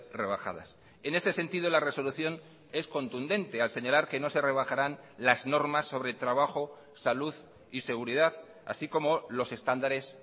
rebajadas en este sentido la resolución es contundente al señalar que no se rebajarán las normas sobre trabajo salud y seguridad así como los estándares